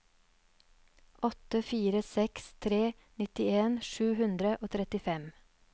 åtte fire seks tre nittien sju hundre og trettifem